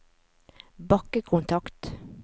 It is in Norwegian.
bakkekontakt